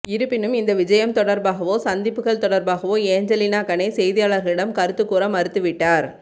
இருப்பினும் இந்த விஜயம் தொடர்பாகவோ சந்திப்புகள் தொடர்பாகவோ ஏஞ்சலினா கனே செய்தியாளர்களிடம் கருத்துக் கூற மறுத்து விட்டார்